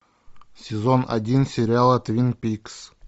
сезон один сериала твин пикс